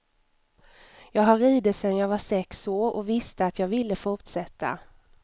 Jag har ridit sedan jag var sex år och visste att jag ville fortsätta.